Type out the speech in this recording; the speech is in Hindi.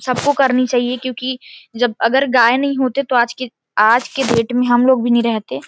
--सब को करनी चाहिए क्योंकि जब अगर गाय नहीं होते तो आज की आज के डेट में हम लोग भी नहीं रहते--